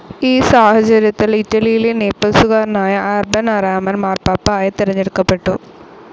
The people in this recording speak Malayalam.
ഈ സാഹചര്യത്തിൽ ഇറ്റലിയിലെ നേപ്പിൾസുകാരനായ അർബൻ ആറാമൻ മാർപാപ്പ ആയി തിരഞ്ഞെടുക്കപ്പെട്ടു.